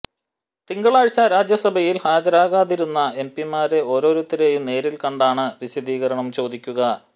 തിങ്കളാഴ്ച രാജ്യസഭയിൽ ഹാജരാകാതിരുന്ന എംപിമാരെ ഓരോരുത്തരെയും നേരിൽ കണ്ടാണ് വിശദീകരണം ചോദിക്കുക